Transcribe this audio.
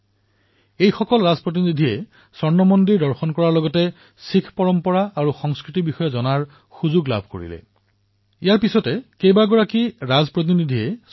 তাত এই সকলো ৰাজদূতে স্বৰ্ণ মন্দিৰ দৰ্শন কৰি শিখ পৰম্পৰা আৰু সংস্কৃতিৰ বিষয়েও জনাৰ সুযোগ লাভ কৰিছিল